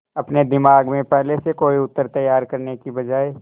अपने दिमाग में पहले से कोई उत्तर तैयार करने की बजाय